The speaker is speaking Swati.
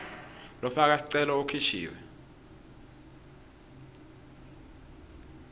lofaka sicelo ukhishiwe